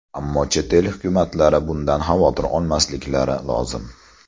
Ammo chet el hukumatlari bundan xavotir olmasliklari lozim.